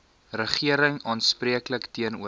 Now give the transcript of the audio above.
regering aanspreeklik teenoor